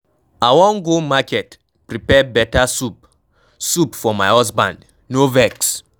I wan go market prepare beta soup soup for my husband. no vex